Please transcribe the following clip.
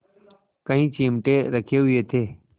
कई चिमटे रखे हुए थे